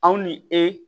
Aw ni e